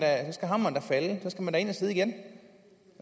da ind at sidde igen